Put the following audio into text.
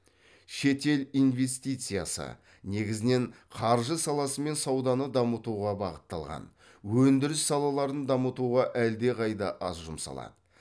шетел инвестициясы негізінен қаржы саласы мен сауданы дамытуға бағытталған өндіріс салаларын дамытуға әлдеқайда аз жұмсалады